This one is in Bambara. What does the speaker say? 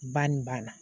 Ba nin banna